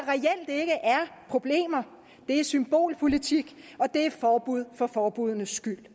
problemer er symbolpolitik og det er forbud for forbuddenes skyld